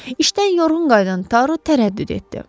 İşdən yorğun qayıdan Taru tərəddüd etdi.